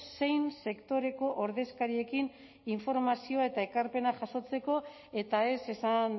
zein sektoreko ordezkariekin informazioa eta ekarpenak jasotzeko eta ez esan